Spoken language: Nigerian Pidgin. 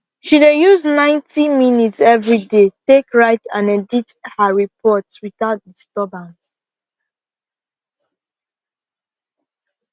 she dey use ninety minutes everyday take write and edit her report without disturbance